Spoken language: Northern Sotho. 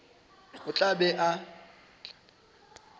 o tla be a ba